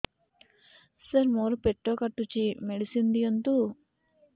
ସାର ମୋର ପେଟ କାଟୁଚି ମେଡିସିନ ଦିଆଉନ୍ତୁ